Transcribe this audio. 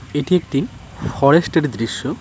এটি একটি ফরেস্ট -এর দৃশ্য।